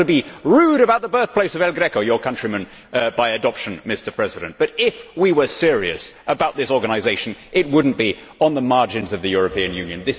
I do not want to be rude about the birthplace of El Greco, your countryman by adoption, Mr President, but if we were serious about this organisation, it would not be on the margins of the European Union.